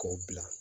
K'o bila